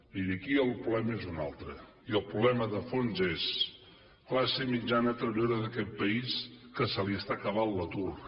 miri aquí el problema és un altre i el problema de fons és classe mitjana treballadora d’aquest país que se li està acabant l’atur